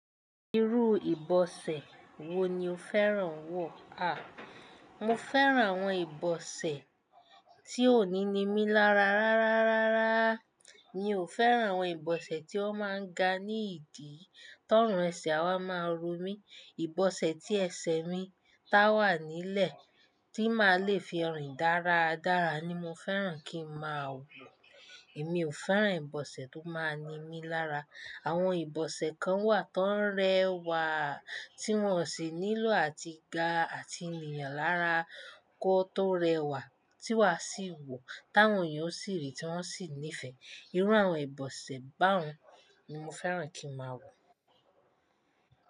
Irú ìbọsẹ̀ wo ni o fẹ́ràn wọ̀? À, mo fẹ́ràn àwọn ìbọsẹ̀ tí ó níni mí lára rárá rárá. Mi ò fẹ́ràn àwọn ìbọsẹ̀ tí ó máa ń ga ní ìdí tó ọ̀run ẹsẹ̀ a máa ń ro mí. Ìbọsẹ̀ tí ẹsẹ̀ mi táwà nílẹ̀ tí máa le fi rìn dáradára ni mo fẹ́ràn kí mo máa wọ̀. Èmi ò fẹ́ràn ìbọsẹ̀ tó máa ń ni mí lára. Àwọn ìbọsẹ̀ kan wà tó ń rẹwà, tí wọ́n sì nílò àti ga àti nìyàn lára kó tó rẹwà tí wá sì wọ̀ táwọn èèyàn sì rí tí wọ́n sì nífẹ̀ẹ́. Irú àwọn ìbọsẹ̀ bahun ni mo fẹ́ràn kí mo máa wọ̀.